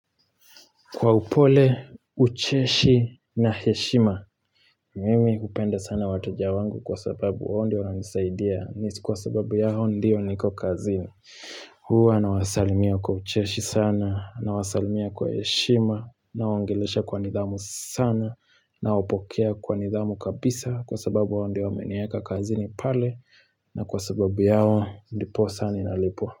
Kwa upole, ucheshi na heshima, mimi hupenda sana wateja wangu kwa sababu wao ndio wananisaidia. Nihisi kwa sababu yao ndio niko kazini. Huwa nawasalimia kwa ucheshi sana, nawasalimia kwa heshima, nawaongelesha kwa nidhamu sana, na wapokea kwa nidhamu kabisa, kwa sababu hao ndio wamenieka kazini pale, na kwa sababu yao ndiposa ninalipwa.